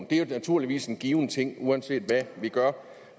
det er naturligvis en given ting uanset hvad vi gør